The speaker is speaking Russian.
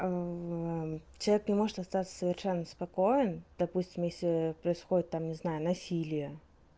терпи может остаться совершенно спокоен допустим если происходит там не знаю насилие